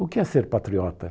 O que é ser patriota?